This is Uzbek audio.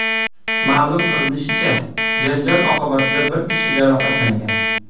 Ma’lum qilinishicha, janjal oqibatida bir kishi jarohatlangan.